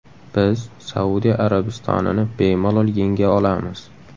Biz Saudiya Arabistonini bemalol yenga olamiz.